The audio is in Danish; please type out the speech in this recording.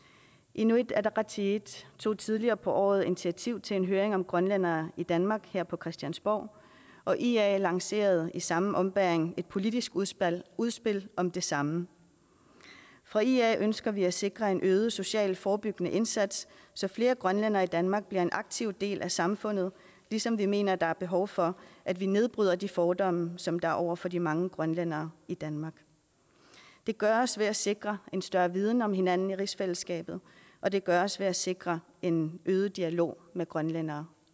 inuit ataqatigiit tog tidligere på året initiativ til en høring om grønlændere i danmark her på christiansborg og ia lancerede i samme ombæring et politisk udspil udspil om det samme fra ia ønsker vi at sikre en øget social forebyggende indsats så flere grønlændere i danmark bliver en aktiv del af samfundet ligesom vi mener at der er behov for at vi nedbryder de fordomme som der er over for de mange grønlændere i danmark det gøres ved at sikre en større viden om hinanden i rigsfællesskabet og det gøres ved at sikre en øget dialog med grønlændere